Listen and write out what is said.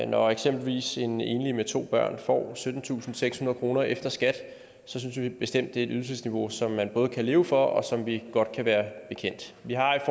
når eksempelvis en enlig med to børn får syttentusinde og sekshundrede kroner efter skat synes vi bestemt at det ydelsesniveau som man både kan leve for og som vi godt kan være bekendt vi har i